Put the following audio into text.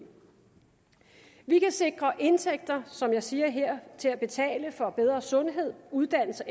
vi kan sikre indtægter som jeg siger her til at betale for bedre sundhed uddannelse